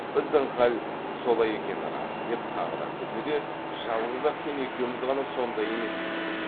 біздің хал солай екені рас деп тағы күлді де жалғыз ақ сен екеуміз ғана сондай емеспіз